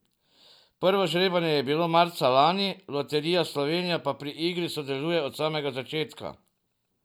Prvo žrebanje je bilo marca lani, Loterija Slovenije pa pri igri sodeluje od samega začetka.